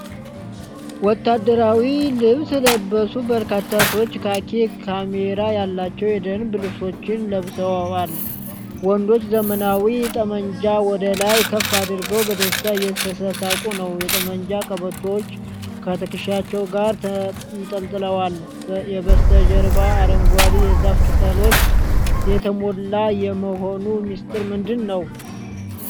ወታደራዊ ልብስ የለበሱ በርካታ ሰዎች ካኪ ካሜራ ያላቸው የደንብ ልብሶችን ለብሰዋል። ወንዶቹ ዘመናዊ ጠብመንጃዎች ወደ ላይ ከፍ አድርገው በደስታ እየተሳሳቁ ነው። የጠመንጃ ቀበቶዎች ከትከሻቸው ጋር ተንጠልጥለዋል። የበስተጀርባው አረንጓዴ የዛፍ ቅጠሎች የተሞላ የመሆኑ ሚስጥር ምንድን ነው?